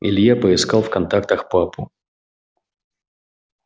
илья поискал в контактах папу